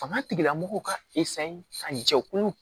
Fanga tigilamɔgɔw ka ka jɛkulu